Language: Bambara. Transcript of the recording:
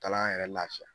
Kalan yɛrɛ lafiya